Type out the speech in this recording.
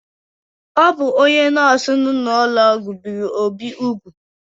O bụ onye nọọsụ nọ n’ụlọọgwụ biri Obi úgwù.